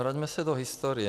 Vraťme se do historie.